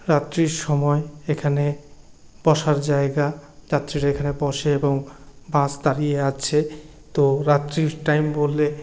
রাত্রির সময় এখানে বসার জায়গা যাত্রীরা এখানে বসে এবং বাস দাঁড়িয়ে আছেতো রাত্রির টাইম বলে --